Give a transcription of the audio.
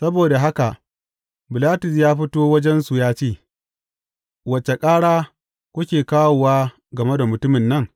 Saboda haka Bilatus ya fito wajensu ya ce, Wace ƙara kuke kawowa game da mutumin nan?